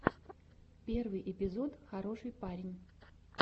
первый эпизод хороший парень